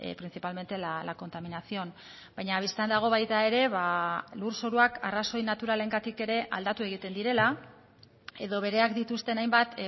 principalmente la contaminación baina bistan dago baita ere lurzoruak arrazoi naturalengatik ere aldatu egiten direla edo bereak dituzten hainbat